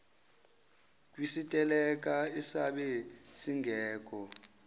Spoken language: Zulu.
kwisiteleka esabe singekho